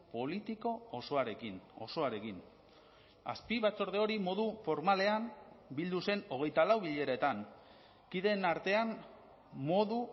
politiko osoarekin osoarekin azpibatzorde hori modu formalean bildu zen hogeita lau bileretan kideen artean modu